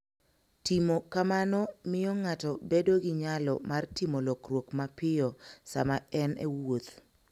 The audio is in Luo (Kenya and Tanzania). Timo kamano miyo ng'ato bedo gi nyalo mar timo lokruok mapiyo sama en e wuoth.